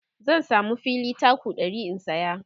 zan samu fili taku 100 in saya